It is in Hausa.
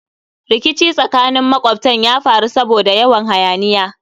Rikici tsakanin makwabtan ya faru saboda yawan hayaniya